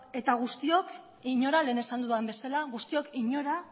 eta guztiok inora lehen esan dudan bezala guztiok inora